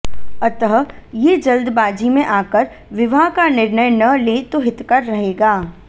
अतः ये जल्दबाजी में आकर विवाह का निर्णय न लें तो हितकर रहेगा